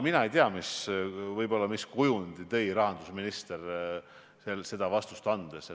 Mina ei tea, mis kujundi tõi rahandusminister sellist vastust andes.